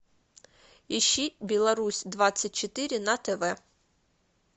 ищи беларусь двадцать четыре на тв